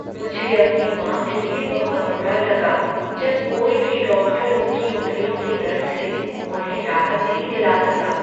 मुझे अपनी माँ के लिए बहुत बुरा लगा जब कोई भी डॉक्टर उनकी उंगलियों के दर्द से उन्हें राहत नहीं दिला सका।